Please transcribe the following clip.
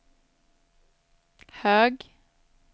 hög